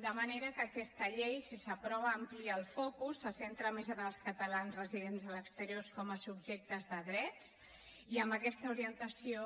de manera que aquesta llei si s’aprova amplia el focus se centra més en els catalans residents a l’exterior com a subjectes de drets i amb aquesta orientació